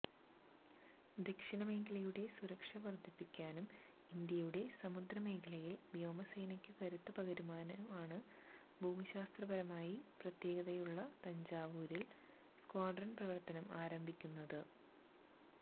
ദക്ഷിണ മേഖലയുടെ സുരക്ഷ വർധിപ്പിക്കാനും ഇന്ത്യയുടെ സമുദ്രമേഖലയിൽ വ്യോമസേനയ്ക്കു കരുത്തു പകരാനുമാണ് ഭൂമിശാസ്ത്രപരമായി പ്രത്യേകതകളുള്ള തഞ്ചാവൂരിൽ സ്ക്വാഡ്രൺ പ്രവർത്തനം ആരംഭിക്കുന്നത്